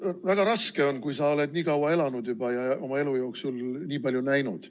Väga raske on, kui sa oled nii kaua elanud juba ja oma elu jooksul nii palju näinud.